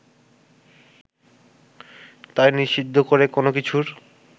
তাই নিষিদ্ধ করে কোনো কিছুর